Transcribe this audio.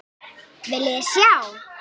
Viljiði sjá!